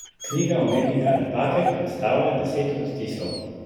Knjiga umetnika Napake predstavlja deset odtisov.